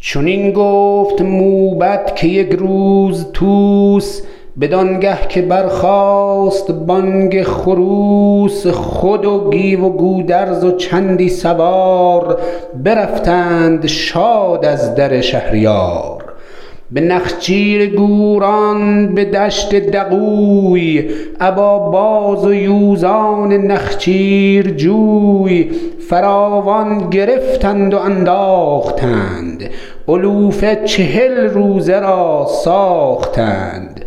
چنین گفت موبد که یک روز طوس بدانگه که برخاست بانگ خروس خود و گیو گودرز و چندی سوار برفتند شاد از در شهریار به نخچیر گوران به دشت دغوی ابا باز و یوزان نخچیرجوی فراوان گرفتند و انداختند علوفه چهل روزه را ساختند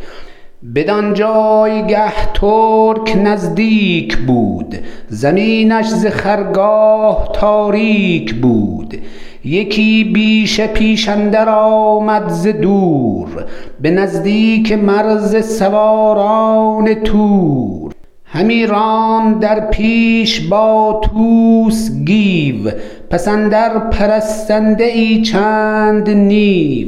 بدان جایگه ترک نزدیک بود زمینش ز خرگاه تاریک بود یکی بیشه پیش اندر آمد ز دور به نزدیک مرز سواران تور همی راند در پیش با طوس گیو پس اندر پرستنده ای چند نیو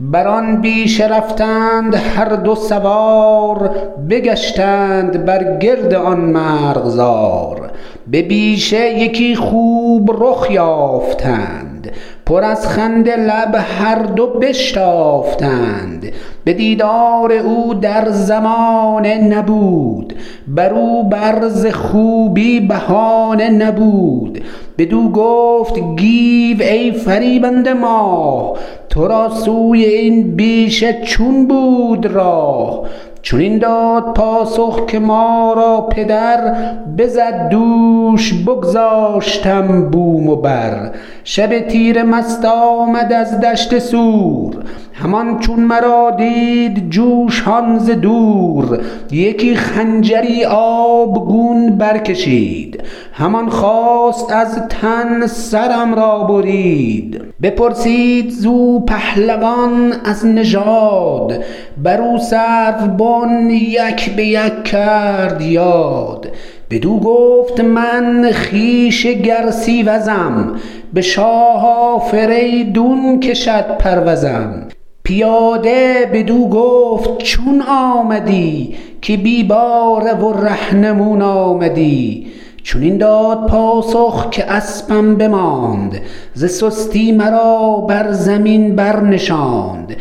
بران بیشه رفتند هر دو سوار بگشتند بر گرد آن مرغزار به بیشه یکی خوب رخ یافتند پر از خنده لب هردو بشتافتند به دیدار او در زمانه نبود برو بر ز خوبی بهانه نبود بدو گفت گیو ای فریبنده ماه ترا سوی این بیشه چون بود راه چنین داد پاسخ که ما را پدر بزد دوش بگذاشتم بوم و بر شب تیره مست آمد از دشت سور همان چون مرا دید جوشان ز دور یکی خنجری آبگون برکشید همان خواست از تن سرم را برید بپرسید زو پهلوان از نژاد برو سروبن یک به یک کرد یاد بدو گفت من خویش گرسیوزم به شاه آفریدون کشد پروزم پیاده ـ بدو گفت ـ چون آمدی که بی باره و رهنمون آمدی چنین داد پاسخ که اسپم بماند ز سستی مرا بر زمین برنشاند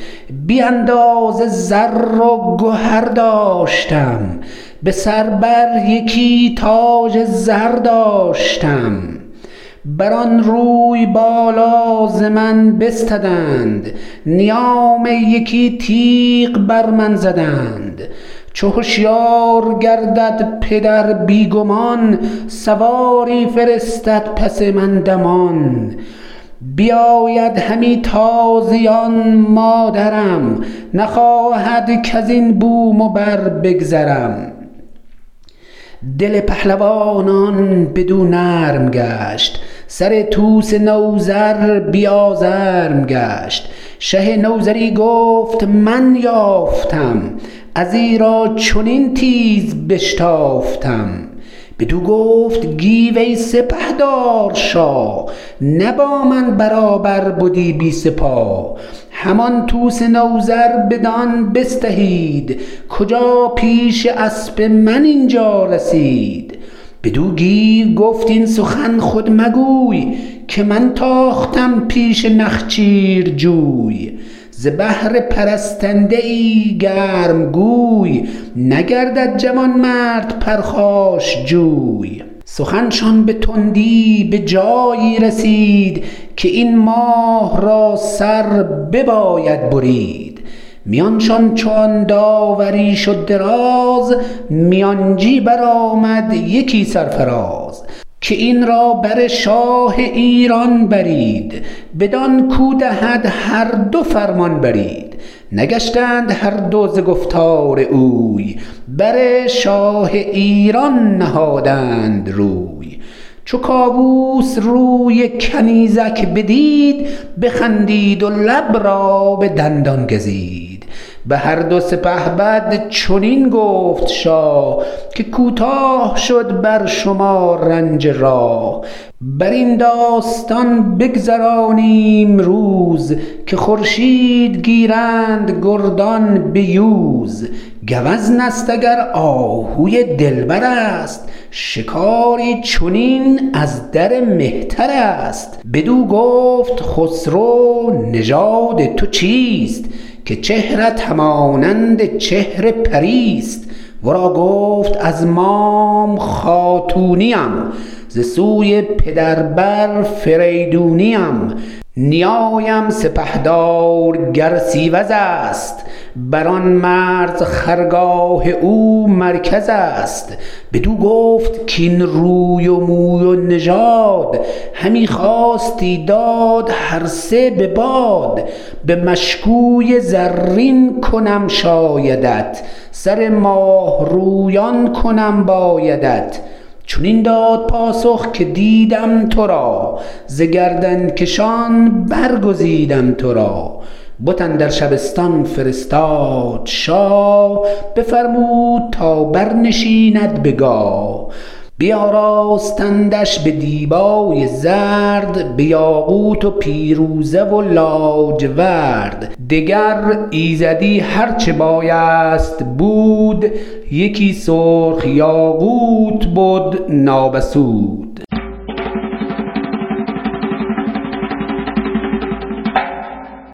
بی اندازه زر و گهر داشتم به سر بر یکی تاج زر داشتم بران روی بالا ز من بستدند نیام یکی تیغ بر من زدند چو هشیار گردد پدر بی گمان سواری فرستد پس من دمان بیاید همی تازیان مادرم نخواهد کزین بوم و بر بگذرم دل پهلوانان بدو نرم گشت سر طوس نوذر بی آزرم گشت شه نوذری گفت من یافتم از ایرا چنین تیز بشتافتم بدو گفت گیو ای سپهدار شاه نه با من برابر بدی بی سپاه همان طوس نوذر بدان بستهید کجا پیش اسپ من اینجا رسید بدو گیو گفت این سخن خود مگوی که من تاختم پیش نخچیرجوی ز بهر پرستنده ای گرمگوی نگردد جوانمرد پرخاشجوی سخن شان به تندی بجایی رسید که این ماه را سر بباید برید میانشان چو آن داوری شد دراز میانجی برآمد یکی سرفراز که این را بر شاه ایران برید بدان کاو دهد هردو فرمان برید نگشتند هردو ز گفتار اوی بر شاه ایران نهادند روی چو کاووس روی کنیزک بدید بخندید و لب را به دندان گزید بهردو سپهبد چنین گفت شاه که کوتاه شد بر شما رنج راه برین داستان بگذرانیم روز که خورشید گیرند گردان بیوز گوزنست اگر آهوی دلبرست شکاری چنین ازدر مهترست بدو گفت خسرو نژاد تو چیست که چهرت همانند چهر پریست ورا گفت از مام خاتونیم ز سوی پدر آفریدونیم نیایم سپهدار گرسیوزست بران مرز خرگاه او مرکزست بدو گفت کاین روی و موی و نژاد همی خواستی داد هرسه به باد به مشکوی زرین کنم شایدت سر ماه رویان کنم بایدت چنین داد پاسخ که دیدم ترا ز گردنکشان برگزیدم ترا بت اندر شبستان فرستاد شاه بفرمود تا برنشیند به گاه بیاراستندش به دیبای زرد به یاقوت و پیروزه و لاجورد دگر ایزدی هرچه بایست بود یکی سرخ یاقوت بد نابسود